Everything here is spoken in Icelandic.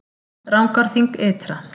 Rangárþing ytra